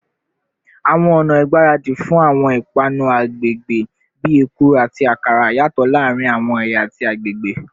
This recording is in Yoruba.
Awọn ọna igbaradi fun awọn ipanu agbegbe, bii ekuru ati akara, yatọ laarin awọn ẹya ati agbegbe